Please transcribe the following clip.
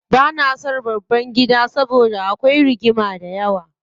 Bana son babban gida saboda akwai rigima dayawa.